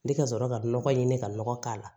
Ni ka sɔrɔ ka nɔgɔ ɲini ka nɔgɔ k'a la